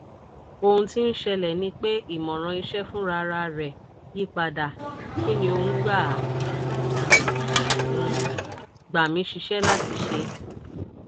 "ohun ti n ṣẹlẹ ni pe imọran iṣẹ funrararẹ yipada; kí ni ò ń gbà ń gbà mí síṣẹ́ láti ṣe?